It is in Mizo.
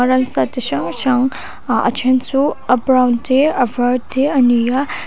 ransa chi hrang hrang ah a then chu a brown te a var te a ni a.